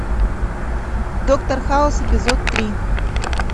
доктор хаус эпизод три